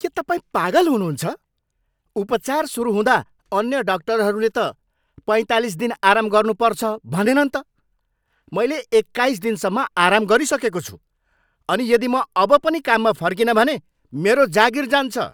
के तपाईँ पागल हुनुहुन्छ? उपचार सुरु हुँदा अन्य डाक्टरहरूले त पैँतालिस दिन आराम गर्नुपर्छ भनेनन् त! मैले एक्काइस दिनसम्म आराम गरिसकेको छु अनि यदि म अब पनि काममा फर्किनँ भने मेरो जागिर जान्छ।